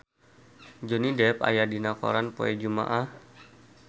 Johnny Depp aya dina koran poe Jumaah